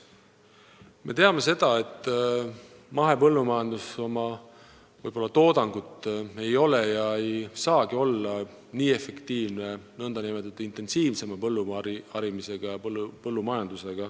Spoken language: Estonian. Me teame seda, et mahepõllumajandus ei ole ega saagi olla oma toodangult sama efektiivne nagu nn intensiivsem põlluharimine ja põllumajandus.